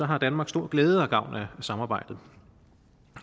har danmark stor glæde og gavn af samarbejdet